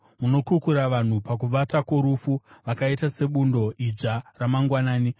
Munokukura vanhu pakuvata kworufu; vakaita sebundo idzva ramangwanani,